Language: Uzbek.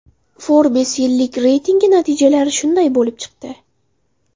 Forbes yillik reytingi natijalari shunday bo‘lib chiqdi.